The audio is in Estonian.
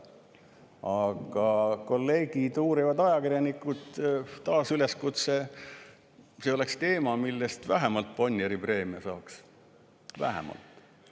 Aga kolleegid, uurivad ajakirjanikud, taas üleskutse: see oleks teema, mille eest vähemalt Bonnieri preemia saaks – vähemalt!